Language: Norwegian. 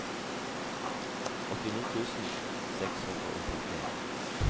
åttini tusen seks hundre og femtien